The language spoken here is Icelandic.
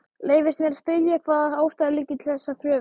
Leyfist mér að spyrja, hvaða ástæður liggi til þessarar kröfu?